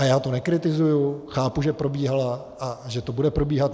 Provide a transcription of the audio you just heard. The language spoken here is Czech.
A já to nekritizuji, chápu, že probíhala a že to bude probíhat.